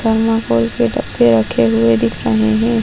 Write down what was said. डब्बे रखे हुए दिख रहे है।